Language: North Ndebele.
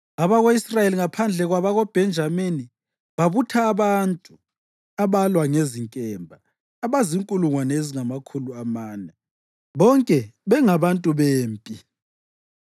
Abako-Israyeli, ngaphandle kwabakoBhenjamini, babutha abantu abalwa ngezinkemba abazinkulungwane ezingamakhulu amane, bonke bengabantu bempi.